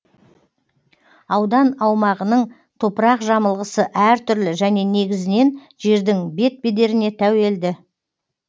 аудан аумағының топырақ жамылғысы әр түрлі және негізінен жердің бет бедеріне тәуелді